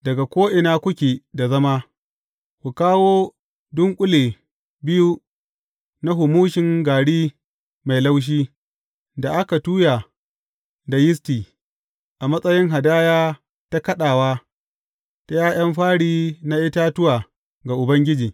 Daga ko’ina kuke da zama, ku kawo dunƙule biyu na humushin gari mai laushi da aka tuya da yisti, a matsayin hadaya ta kaɗawa ta ’ya’yan fari na itatuwa ga Ubangiji.